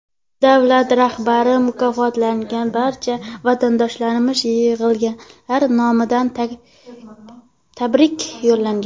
Davlat rahbari mukofotlangan barcha vatandoshlarimizga yig‘ilganlar nomidan tabrik yo‘llagan.